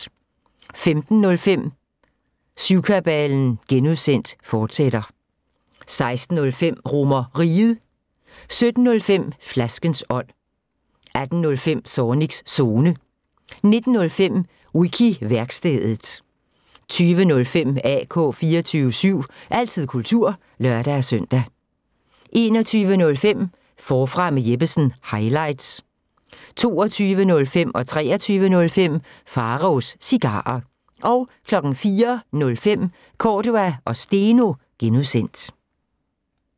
15:05: Syvkabalen (G), fortsat 16:05: RomerRiget 17:05: Flaskens ånd 18:05: Zornigs Zone 19:05: Wiki-værkstedet 20:05: AK 24syv – altid kultur (lør-søn) 21:05: Forfra med Jeppesen – highlights 22:05: Pharaos Cigarer 23:05: Pharaos Cigarer 04:05: Cordua & Steno (G)